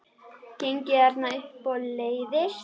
Gengið þarna um og leiðst.